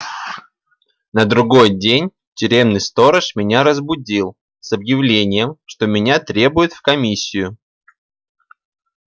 на другой день тюремный сторож меня разбудил с объявлением что меня требуют в комиссию